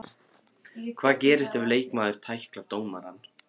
Hvað gerist ef leikmaður tæklar dómarann?